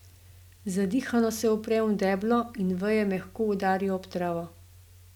Zadihano se uprem v deblo in veje mehko udarijo ob travo.